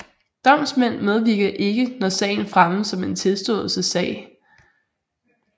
Domsmænd medvirker ikke når sagen fremmes som en tilståelsessag